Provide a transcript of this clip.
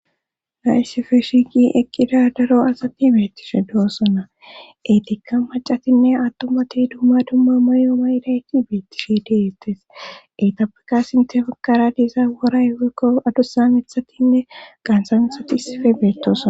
iisife shiiqi eqqida daro asati beettishe do7osonna eytikka macatinne attumati dumma dumma mayo mayidayti beettishe de'eettes eytapeka sinte bagara diiza woray woykko adusa mithatinne qaantha mithati issife beettosona